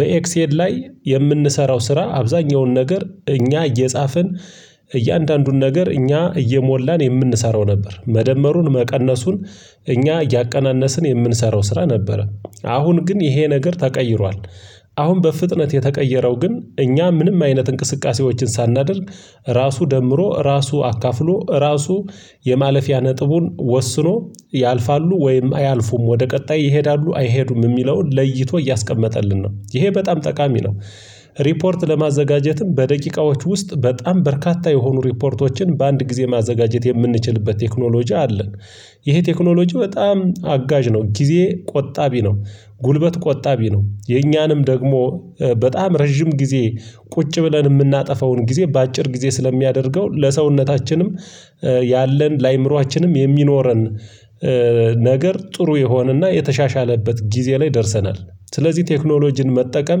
በኤክስኤል ላይ የምንሰራው ስራ አብዛኛውን ነገር እኛ እየጻፍን እያንዳንዱን ነገር እኛ እየሞላን የምንሰራው ነበር። መደመሩን መቀነሱን እኛ እያቀናነስን የምንሰራው ስራ ነበረ። አሁን ግን ይሄ ነገር ተቀይሯል። አሁን በፍጥነት የተቀየረው ግን እኛ ምንም አይነት እንቅስቃሴዎችን ሳናደርግ ራሱ ደምሮ ራሱ አካፍሎ ራሱ የማለፊያ ነጥቡን ወስኖ ያልፋሉ ወይም አያልፉም ወደ ቀጣይ ይሄዳሉ አይሄዱም የሚለውን ለይቶ እያስቀመጠልን ነው ይሄ በጣም ጠቃሚ ነው። ሪፖርት ለማዘጋጀትም በደቂቃዎች ውስጥ በጣም በርካታ የሆኑ ሪፖርቶችን በአንድ ጊዜ ማዘጋጀት የምንችልበት ቴክኖሎጂ አለ። ይሄ ቴክኖሎጂ በጣም አጋዥ ነው። ጊዜ ቆጣቢ ነው። ጉልበት ቆጣቢ ነው። የኛንም ደግሞ በጣም ረጅም ጊዜ ቁጭ ብለን የምናጠፋውን ጊዜ በአጭር ጊዜ ስለሚያደርገው ለሰውነታችንም ያለን ለአይምሮአችንም የሚኖረን ነገር ጥሩ የሆነና የተሻሻለበት ጊዜ ላይ ደርሰናል። ስለዚህ ቴክኖሎጂን መጠቀም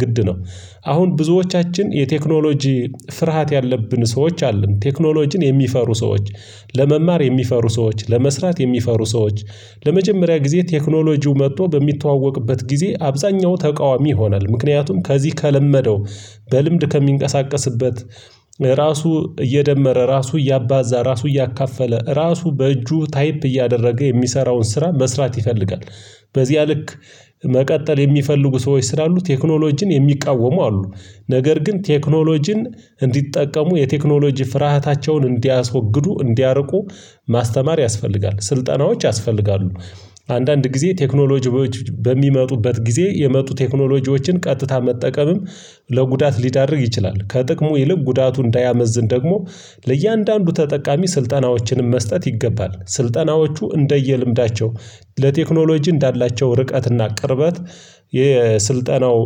ግድ ነው። አሁን ብዙዎቻችን የቴክኖሎጂ ፍርሃት ያለብን ሰዎች አለን ቴክኖሎጂን የሚፈሩ ሰዎች ለመማር የሚፈሩ ሰዎች ለመስራት የሚፈሩ ሰዎች ለመጀመሪያ ጊዜ ቴክኖሎጂው መጥቶ በሚተዋወቅበት ጊዜ አብዛኛው ተቃዋሚ ይሆናል ምክንያቱም ከዚህ ከለመደው በልምድ ከሚንቀሳቀስበት ራሱ እየደመረ ራሱ እያባዛ ራሱ እያካፈለ ራሱ በእጁ ታይፕ እያደረገ የሚሰራውን ስራ መስራት ይፈልጋል። በዚያ ልክ መቀጠል የሚፈልጉ ሰዎች ስላሉ ቴክኖሎጂን የሚቃወሙ አሉ። ነገር ግን ቴክኖሎጂን እንዲጠቀሙ የቴክኖሎጂ ፍርሃታቸውን እንዲያስወግዱ እንዲያርቁ ማስተማር ያስፈልጋል ስልጠናዎች ያስፈልጋሉ። አንዳንድ ጊዜ ቴክኖሎጂዎች በሚመጡበት ጊዜ የመጡ ቴክኖሎጂዎችን ቀጥታ መጠቀምም ለጉዳት ሊዳርግ ይችላል። ከጥቅሙ ይልቅ ጉዳቱ እንዳያመዝን ደግሞ ለእያንዳንዱ ተጠቃሚ ስልጠናዎችንም መስጠት ይገባል። ስልጠናዎቹ እንደየልምዳቸው ለቴክኖሎጂ እንዳላቸው ርቀትና ቅርበት የስልጠናው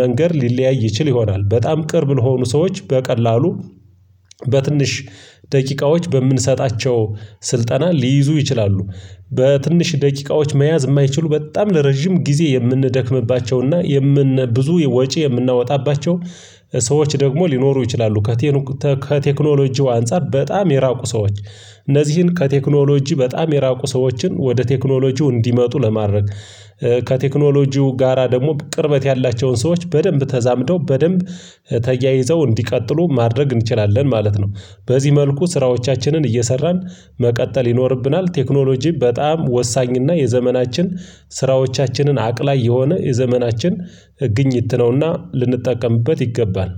መንገድ ሊለያይ ይችል ይሆናል በጣም ቅርብ ለሆኑ ሰዎች በቀላሉ በትንሽ ደቂቃዎች በምንሰጣቸው ስልጠና ሊይዙ ይችላሉ። በትንሽ ደቂቃዎች መያዝ የማይችሉ በጣም ለረጅም ጊዜ የምንደክምባቸውና የምን ብዙ ወጪ የምናወጣባቸው ሰዎች ደግሞ ሊኖሩ ይችላሉ። ከቴክኖሎጂው አንፃር በጣም የራቁ ሰዎች እነዚህን ከቴክኖሎጂ በጣም የራቁ ሰዎችን ወደ ቴክኖሎጂው እንዲመጡ ለማድረግ ከቴክኖሎጂው ጋራ ደግሞ ቅርበት ያላቸውን ሰዎች በደንብ ተዛምደው በደንብ ተያይዘው እንዲቀጥሉ ማድረግ እንችላለን ማለት ነው። በዚህ መልኩ ስራዎቻችንን እየሰራን መቀጠል ይኖርብናል። ቴክኖሎጂ በጣም ወሳኝና የዘመናችን ስራዎቻችንን አቅላይ የሆነ የዘመናችን ግኝት ነውና ልንጠቀምበት ይገባል